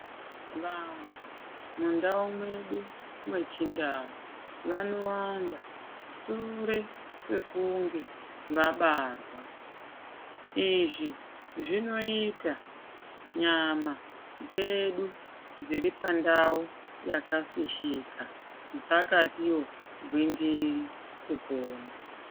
Vantu mundau mwedu mwechindau vanowanda sure kwekunge vabarwa. Izvi zvinoita nyama dzedu dziripandau yakafishika dzakatiwo gwindiri kupona.